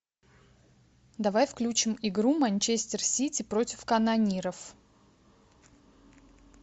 давай включим игру манчестер сити против канониров